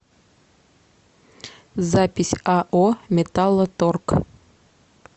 запись ао металлоторг